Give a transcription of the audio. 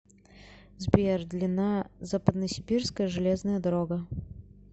сбер длина западносибирская железная дорога